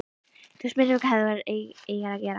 Þú spyrð mig hvað þú eigir að gera.